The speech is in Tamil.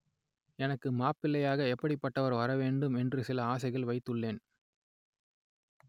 எனக்கு மாப்பிள்ளையாக எப்படிப்பட்டவர் வரவேண்டும் என்று சில ஆசைகளை வைத்துள்ளேன்